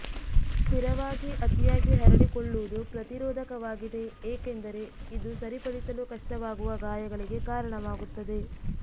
ಸ್ಥಿರವಾಗಿ ಅತಿಯಾಗಿ ಹರಡಿಕೊಳ್ಳುವುದು ಪ್ರತಿರೋಧಕವಾಗಿದೆ ಏಕೆಂದರೆ ಇದು ಸರಿಪಡಿಸಲು ಕಷ್ಟವಾಗುವ ಗಾಯಗಳಿಗೆ ಕಾರಣವಾಗುತ್ತದೆ